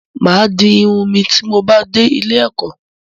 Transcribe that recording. M á di irun mi ti mo bá dé ilé-ẹ̀kọ́.